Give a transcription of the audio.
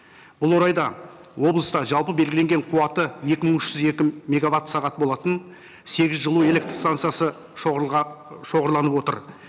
бұл орайда облыста жалпы белгіленген қуаты екі мың үш жүз екі мегаватт сағат болатын сегіз жылу электрстансасы шоғырланып отыр